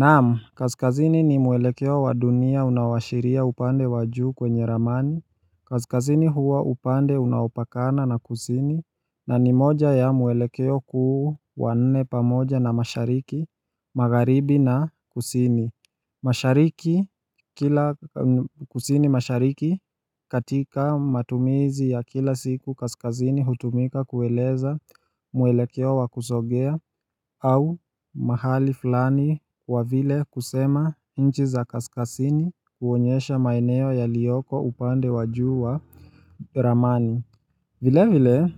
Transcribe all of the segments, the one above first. Naam, kaskazini ni mwelekeo wa dunia unaowashiria upande wa juu kwenye ramani Kaskazini huwa upande unaopakana na kusini na ni moja ya mwelekeo kuu wa nne pamoja na mashariki Magharibi na kusini mashariki kila kusini mashariki katika matumizi ya kila siku kaskazini hutumika kueleza mwelekeo wa kusongea au mahali fulani kwa vile kusema nchi za kaskazini huonyesha maeneo yaliyoko upande wa juu wa ramani vile vile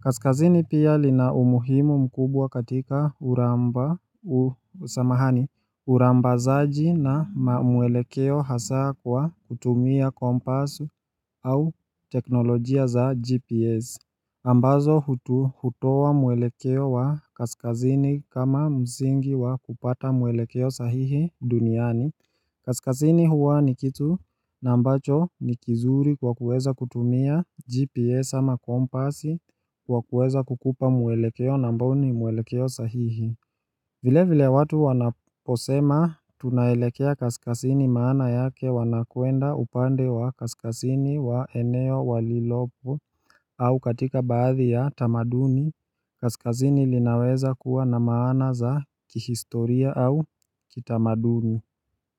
kaskasini pia lina umuhimu mkubwa katika uramba usamahani Urambazaji na mwelekeo hasa kwa kutumia kompasi au teknolojia za GPS ambazo hutoa mwelekeo wa kaskazini kama msingi wa kupata mwelekeo sahihi duniani. Kaskazini huwa ni kitu na ambacho ni kizuri kwa kuweza kutumia GPS ama kompasi kwa kuweza kukupa mwelekeo na ambao ni mwelekeo sahihi. Vile vile watu wanaposema tunaelekea kaskazini maana yake wanakwenda upande wa kaskazini wa eneo walilopo au katika baadhi ya tamaduni, kaskazini linaweza kuwa na maana za kihistoria au kitamaduni.